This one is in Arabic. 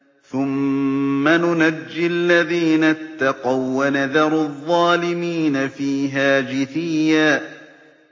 ثُمَّ نُنَجِّي الَّذِينَ اتَّقَوا وَّنَذَرُ الظَّالِمِينَ فِيهَا جِثِيًّا